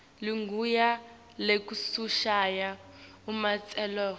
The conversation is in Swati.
ligunya lekushaya umtsetfo